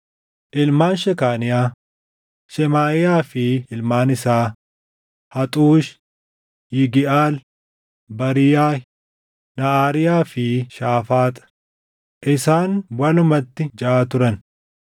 Ilmaan Shekaaniyaa: Shemaaʼiyaa fi ilmaan isaa: Haxuush, Yigiʼaal, Baariiyaah, Naʼaariyaa fi Shaafaax; isaan walumatti jaʼa turan.